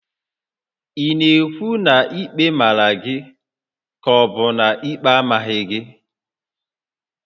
Ị na-ekwu na ikpe màrà gị kà ọbu na ikpe amaghị gị?